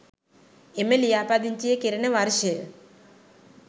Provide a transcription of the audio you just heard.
එම ලියාපදිංචිය කෙරෙන වර්ෂය